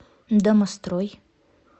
домострой